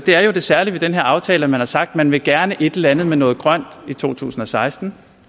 er jo det særlige ved den her aftale at man har sagt at man gerne vil et eller andet med noget grønt i to tusind og seksten